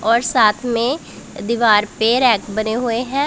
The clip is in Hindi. और साथ में दीवार पे रैक बने हुए हैं।